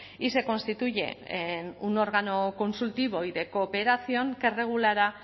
y se constituye en un órgano consultivo y de cooperación que regulará